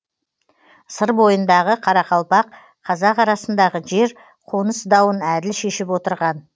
сыр бойындағы қарақалпақ қазақ арасындағы жер қоныс дауын әділ шешіп отырған